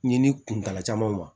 Ɲinini kuntala caman ma